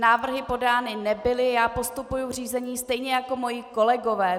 Návrhy podány nebyly, já postupuji v řízení stejně jako moji kolegové.